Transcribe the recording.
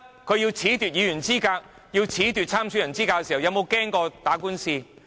它要褫奪議員和參選人資格時有否害怕打官司？